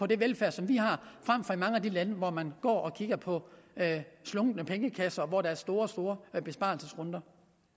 den velfærd som vi har frem for i mange af de lande hvor man går og kigger på slunkne pengekasser og hvor der er store store sparerunder